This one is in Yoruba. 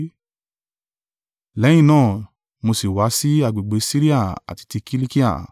Lẹ́yìn náà mo sì wá sí agbègbè Siria àti ti Kilikia.